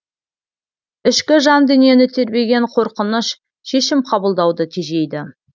ішкі жан дүниені тербеген қорқыныш шешім қабылдауды тежейді